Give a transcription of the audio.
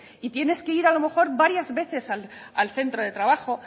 y tienes que ir a lo mejor varias veces al centro de trabajo